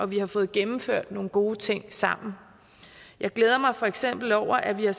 vi har fået gennemført nogle gode ting sammen jeg glæder mig for eksempel over at vi har